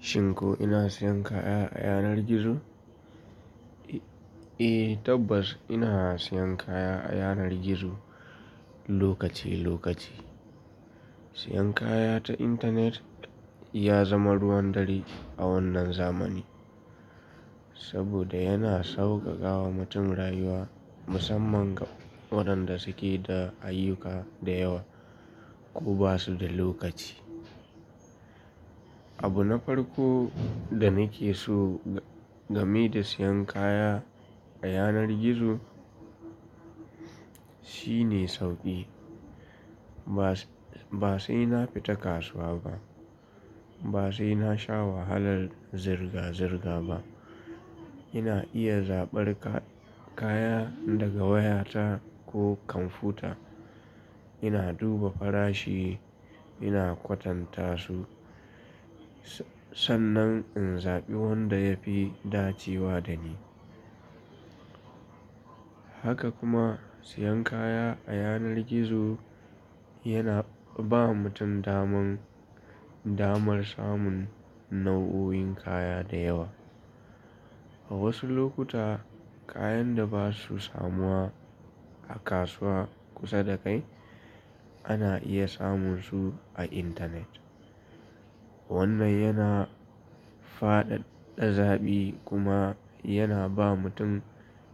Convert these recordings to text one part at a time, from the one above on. Shin ko ina siyan kaya a yanar gizo? Eh tabbas ina siyan kaya a yanar gizo lokaci lokaci. Siyan kaya ta intanet ya zama ruwan dare a wannan zamani. Saboda yana sauƙaƙawa mutum rayuwa musamman ga waɗanda suke da ayyuka da yawa ko ba su da lokaci. Abu na farko da nake so game da siyan kaya a yanar gizo shine sauƙi. Ba, ba sai na fita kasuwa ba. Ba sai na sha wahalar zirga-zirga ba. Ina iya zaɓar ka-kaya daga wayata ko kwamfuta. Ina duba farashi, ina kwatanta su, sannan in zaɓi wanda ya fi dacewa da ni. Haka kuma siyan kaya a yanar gizo yana ba mutum daman, damar samun nau'o'in kaya da yawa. A wasu lokuta kayan da ba su samuwa a kasuwa kusa da kai ana iya samun su a intanet. Wannan yana faɗaɗa zaɓi kuma yana ba mutum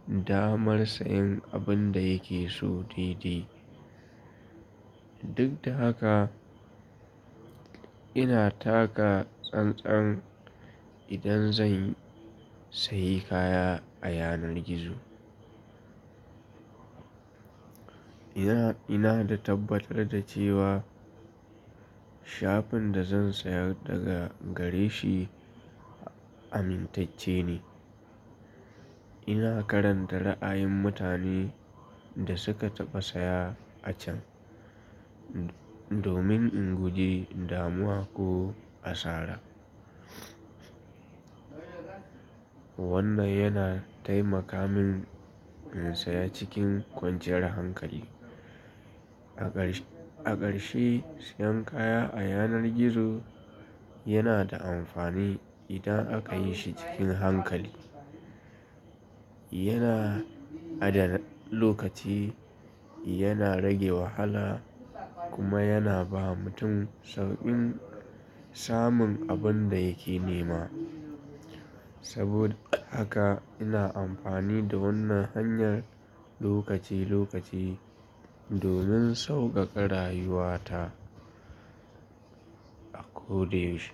damar sayen abin da yake so daidai. Duk da haka, ina taka tsan-tsan idan zan saye kaya a yanar gizo. Ina, ina da tabbatar da cewa shafin da zan sayar daga gare shi amintacce ne. Ina karanta ra'ayin mutanen da suka taba saya a can, domin in guji damuwa ko asara. Wannan yana taimaka min in saya cikin kwanciyar hankali. A ƙarshe, a ƙarshe siyan kaya a yanar gizo yana da amfani idan aka yi shi cikin hankali. Yana adana lokaci, yana rage wahala kuma yana ba mutum sauƙin samun abin da yake nema. Saboda haka ina amfani da wannan hanyar lokaci-lokaci domin sauƙaƙa rayuwa ta a ko da yaushe.